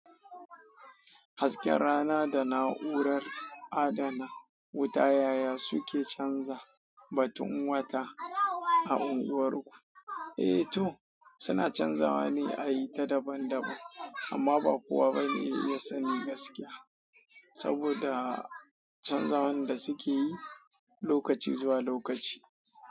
Hasken rana da na'urar adana wuta yaya suke canza batun wata a unguwarku? Eh to suna canzawa ne a yi ta daban-daban amma ba kowa bane ya sani gaskiya saboda canzawan da suke yi lokaci zuwa lokaci.